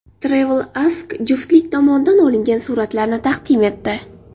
TravelAsk juftlik tomonidan olingan suratlarni taqdim etdi .